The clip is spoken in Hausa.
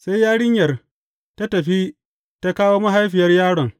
Sai yarinyar ta tafi ta kawo mahaifiyar yaron.